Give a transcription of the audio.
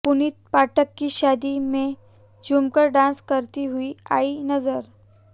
पुनीत पाठक की शादी में झूमकर डांस करती हुई आईं नजर